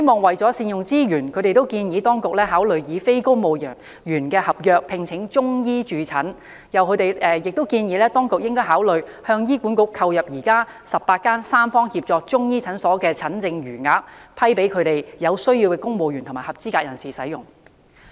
為善用資源，他們建議當局考慮以非公務員合約聘請中醫駐診，並建議當局應考慮向醫院管理局購入現時18間三方協作的中醫教研中心的診症餘額，給予有需要的公務員和合資格人士使用。